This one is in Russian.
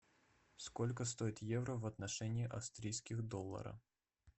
сколько стоит евро в отношении австрийских долларов